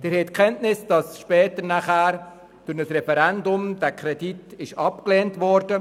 Sie haben Kenntnis davon, dass später infolge eines Referendums dieser Kredit abgelehnt wurde.